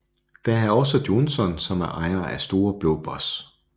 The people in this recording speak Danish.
Der er også Johnsen som er ejer af Store blå boss